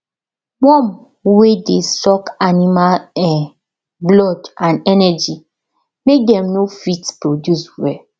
worm wer dey suck animal um blood and energy make dem no fit produce well